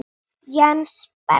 Jens Berg.